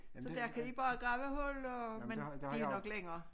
Så der kan de bare grave huller og men det er nok længere